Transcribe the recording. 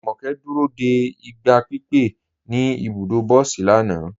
Jùmọ́kẹ́ dúró dé igba pípẹ̀ ní ibùdọ̀ bọ̀sí lànà.